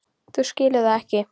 Þú skilur það ekki.